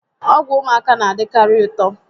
Ọgwụ ụmụaka na-adikari ụtọ